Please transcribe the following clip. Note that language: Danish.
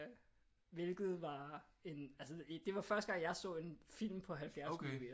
Hvilket var en altså det var første gang jeg så en film på 70 millimeter